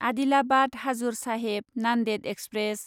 Adilabad Hazur Sahib Nanded express